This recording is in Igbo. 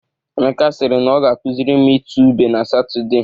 Emeka sịrị na ọ ga-akụzịrị m itu ube na Satọde.